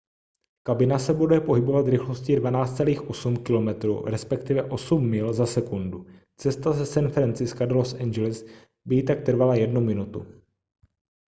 kabina se bude pohybovat rychlostí 12.8 km respektive 8 mil za sekundu cesta ze san francisca do los angeles by jí tak trvala jednu minutu